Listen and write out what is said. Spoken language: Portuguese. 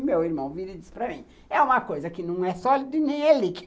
E meu irmão vira e diz para mim, é uma coisa que não é sólido e nem é líquido.